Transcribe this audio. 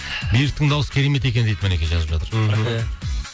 беріктің дауысы керемет екен дейді мінекей жазып жатыр мхм